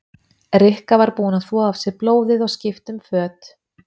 Rikka var búin að þvo af sér blóðið og skipta um föt.